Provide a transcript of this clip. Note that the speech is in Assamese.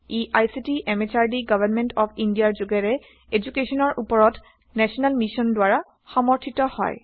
E ICT MHRD government of ইণ্ডিয়াৰ যোগেৰে এদুকেশ্যনৰ উপৰত নেশ্যনেল মিচন দ্বাৰা সমৰ্থিত